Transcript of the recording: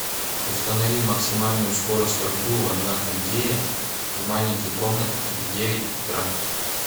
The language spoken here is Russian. установи максимальную скорость обдува на кондее в маленькой комнате в девять утра